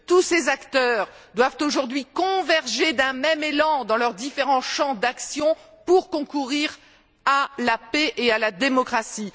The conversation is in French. Tous ces acteurs doivent, aujourd'hui, converger d'un même élan dans leurs différents champs d'action pour concourir à la paix et à la démocratie.